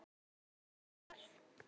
Ég bara verð.